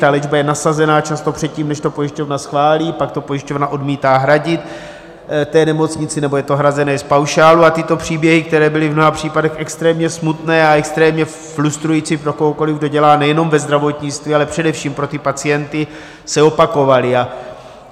Ta léčba je nasazena často předtím, než to pojišťovna schválí, pak to pojišťovna odmítá hradit té nemocnici nebo je to hrazeno z paušálu a tyto příběhy, které byly v mnoha případech extrémně smutné a extrémně frustrující pro kohokoliv, kdo dělá nejenom ve zdravotnictví, ale především pro ty pacienty, se opakovaly.